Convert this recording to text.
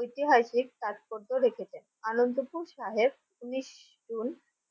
ঐতিহাসিক তাৎপর্য রেখেছেন। আনন্দপুর সাহেব উনিশ জুন